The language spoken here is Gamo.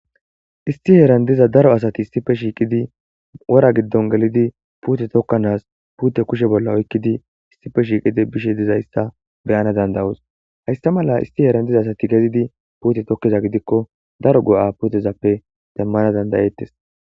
Isti heeran diza daro asati istife shiiqidi wora giddon gelidi puute tokkanas puute kushe bolla oykkidi istife shiiqidi bishe dizayssa beyana dandawus haysta mala isti heeran diza asati gezidi puute tokkiza gidikko daro go'a putezappe demmana dandayeettes.